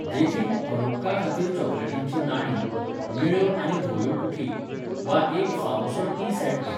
देखीक, हनुक्काखातीर चॉकलेटींचीं नाणीं, निळ्यो आनी धव्यो कुकी, वा एक फावोसो टी सॅट घे.